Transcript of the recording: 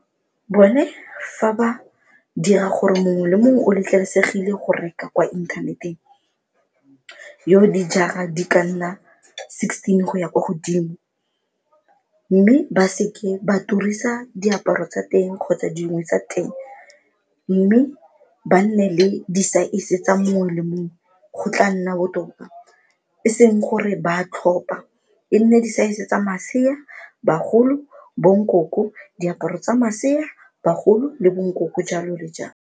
Bone fa ba dira gore mongwe le mongwe o letleleselegile go reka kwa inthaneteng yo o dijara di ka nna sixteen go ya kwa godimo mme ba seke ba turisa diaparo tsa teng kgotsa dingwe tsa teng mme ba nne le disaese tsa mongwe le mongwe go tla nna botoka, e seng gore ba a tlhopa e nne disaese tsa masea, bagolo, bonkoko, diaparo tsa masea, bagolo le bonkoko, jalo le jalo.